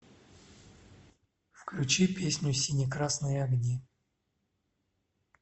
включи песню сине красные огни